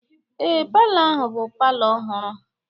Ee, palọ ahụ bụ palọ ọhụrụ.